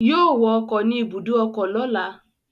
Yóò wọ ọkọ̀ ni ibùdó ọkọ lọ́la